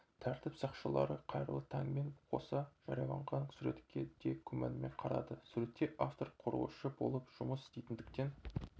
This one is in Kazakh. тәртіп сақшылары қайырлы таңмен қоса жарияланған суретке де күмәнмен қарады суретте автор құрылысшы болып жұмыс істейтіндіктен